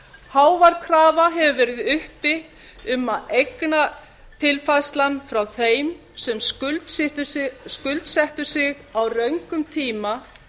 hávær krafa hefur verið uppi um að eignatilfærslan frá þeim sem skuldsettu sig á röngum tíma